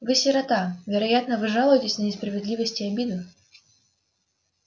вы сирота вероятно вы жалуетесь на несправедливость и обиду